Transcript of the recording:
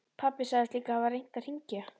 Pabbi sagðist líka hafa reynt að hringja.